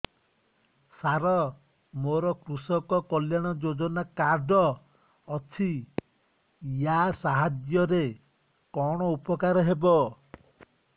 ସାର ମୋର କୃଷକ କଲ୍ୟାଣ ଯୋଜନା କାର୍ଡ ଅଛି ୟା ସାହାଯ୍ୟ ରେ କଣ ଉପକାର ହେବ